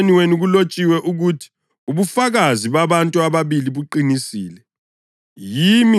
Emthethweni wenu kulotshiwe ukuthi ubufakazi babantu ababili buqinisile.